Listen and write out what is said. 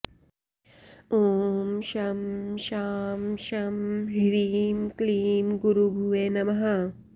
ॐ शं शां षं ह्रीं क्लीं गुरुभुवे नमः